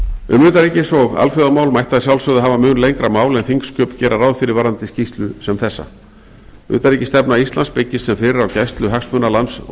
um utanríkis og alþjóðamál mætti að sjálfsögðu hafa mun lengra mál en þingsköp gera ráð fyrir varðandi skýrslu sem þessa utanríkisstefna íslands byggist sem fyrr á gæslu hagsmuna lands og